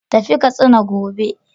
Tafi Katsina gobe!